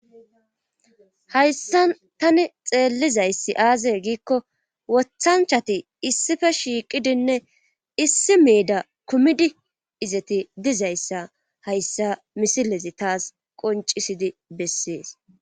hayssan tani xeellizayssi aaze giikko wothanchati issife shiiqidinne issi meeda kumidi izeti dizayssa hayssa misilezi taas qoncisidi bessees